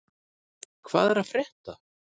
Hvað er að frétta?